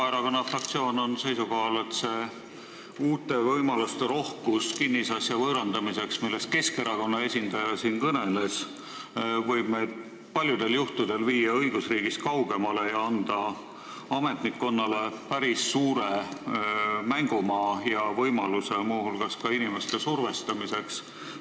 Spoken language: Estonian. Vabaerakonna fraktsioon on seisukohal, et see kinnisasja võõrandamisel pakutav uute võimaluste rohkus, millest Keskerakonna esindaja siin kõneles, võib meid paljudel juhtudel viia õigusriigist kaugemale ja anda ametnikkonnale päris suure mängumaa ja võimaluse muu hulgas inimeste survestamiseks.